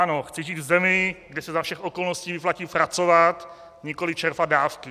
Ano, chci žít v zemi, kde se za všech okolností vyplatí pracovat, nikoli čerpat dávky.